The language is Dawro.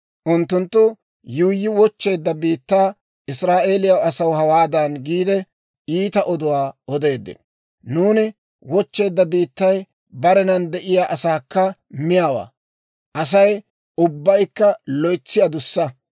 Unttunttu yuuyyi wochcheedda biittaa Israa'eeliyaa asaw hawaadan giide, iita oduwaa odeeddino, «Nuuni wochcheedda biittay barenan de'iyaa asaakka miyaawaa; Asay ubbaykka loytsi adussa.